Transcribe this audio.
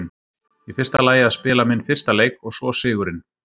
Í fyrsta lagi að spila minn fyrsta leik og svo sigurinn.